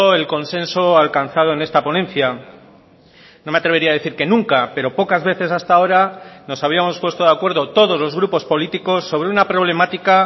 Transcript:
el consenso alcanzado en esta ponencia no me atrevería a decir que nunca pero pocas veces hasta ahora nos habíamos puesto de acuerdo todos los grupos políticos sobre una problemática